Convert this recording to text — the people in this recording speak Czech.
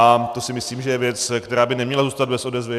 A to si myslím, že je věc, která by neměla zůstat bez odezvy.